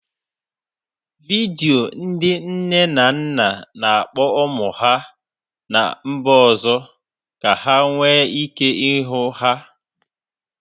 Vidio ndị nne na nna na-akpọ ụmụ ha ná mba ọzọ ka ha nwee ike ịhụ ha.